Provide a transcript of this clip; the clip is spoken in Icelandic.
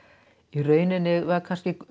í rauninni var